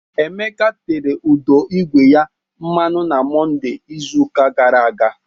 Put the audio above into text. Emeka tere ụdọ ígwè ya mmanụ na Mọnde izuụka gara aga